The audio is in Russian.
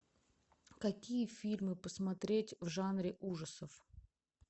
какие фильмы посмотреть в жанре ужасов